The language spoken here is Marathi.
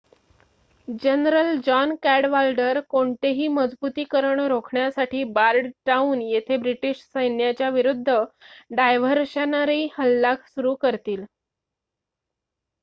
जनरल जॉन कॅडवाल्डर कोणतेही मजबुतीकरण रोखण्यासाठी बॉर्डनटाउन येथे ब्रिटीश सैन्याच्या विरूद्ध डायव्हर्शनरी हल्ला सुरु करतील